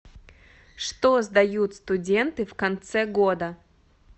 что сдают студенты в конце года